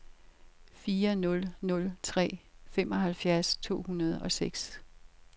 fire nul nul tre femoghalvfjerds to hundrede og seks